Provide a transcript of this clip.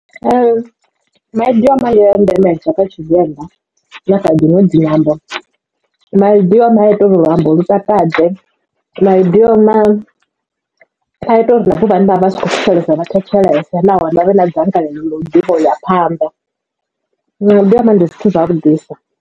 Maidioma ndi a ndemesa kha tshivenḓa na kha dziṅwe dzi nyambo maidioma a ita uri luambo lu takadze maidioma a ita uri na vhathu vhane vha vha si kho thetshelesa vha thetshelese nahone vha vhe na dzangalelo ḽa u ḓivha u ya phanḓa maidioma ndi zwithu zwavhuḓisa.